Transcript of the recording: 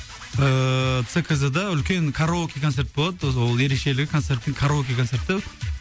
ыыы цкз да үлкен караоке концерт болады сол ерекшелігі концерттің караоке концерт та